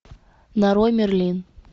нарой мерлин